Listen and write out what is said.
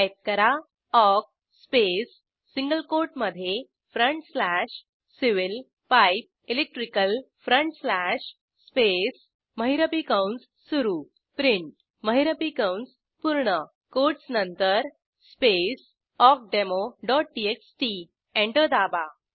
type करा awk space single कोटमधे front slash civil pipe electrical front slash space महिरपी कंस सुरू प्रिंट महिरपी कंस पूर्ण कोटस नंतर स्पेस awkdemoटीएक्सटी एंटर दाबा